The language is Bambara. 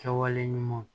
Kɛwale ɲumanw